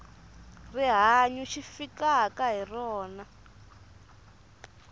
rihanyu xi fikaka hi rona